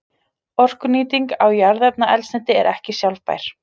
Orkunýting á jarðefnaeldsneyti er ekki sjálfbær.